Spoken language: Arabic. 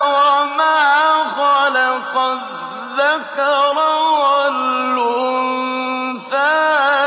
وَمَا خَلَقَ الذَّكَرَ وَالْأُنثَىٰ